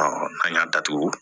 an y'a datugu